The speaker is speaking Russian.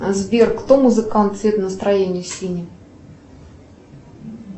сбер кто музыкант цвет настроения синий